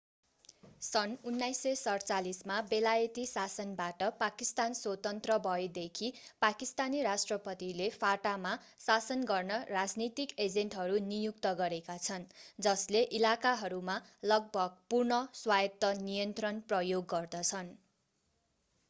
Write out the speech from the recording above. सन् 1947 मा बेलायती शासनबाट पाकिस्तान स्वतन्त्र भएदेखि पाकिस्तानी राष्ट्रपतिले fata मा शासन गर्न राजनीतिक एजेन्टहरू नियुक्त गरेका छन् जसले इलाकाहरूमा लगभग पूर्ण स्वायत्त नियन्त्रण प्रयोग गर्दछन्